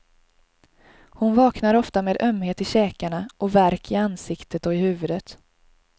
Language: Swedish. Hon vaknar ofta med ömhet i käkarna och värk i ansiktet och i huvudet.